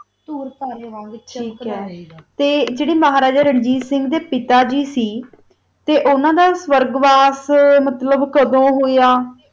tour ਕਰ ਦਾ ਵਿਤਚ ਆ ਗਯਾ ਜਰਾ ਮਹਾਰਾਜਾ ਰਣਜੀਤ ਸਿੰਘ ਦਾ ਪਿਤਾ ਗੀ ਸੀ ਓਨਾ ਦਾ ਵਾਰ੍ਗ੍ਵਾਸ ਮਤਲਬ ਕਦੋ ਹੋਆ